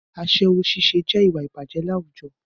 Aṣẹ́wó ṣíṣe jẹ́ ìwà ìbàjẹ́ láwùjọ